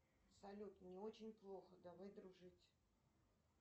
салют мне очень плохо давай дружить